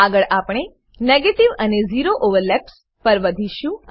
આગળ આપણે નેગેટિવ અને ઝેરો ઓવરલેપ્સ પર વધીશું